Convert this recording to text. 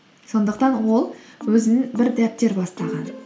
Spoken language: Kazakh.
сондықтан ол өзінің бір дәптер бастаған